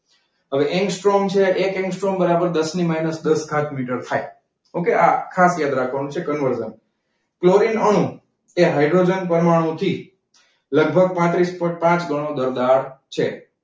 હવે એંગસ્ટ્રોમ છે એક એંગસ્ટ્રોમ બરાબર દસની માઇનસ દસ ઘાત મીટર થાય. okay આ ખાસ યાદ રાખવાનું છે conversion. ક્લોરિન અણુ એ હાઈડ્રોજન પરમાણુથી લગભગ પાત્રીસ પોઈન્ટ પાંચ ગણો દળદાર છે.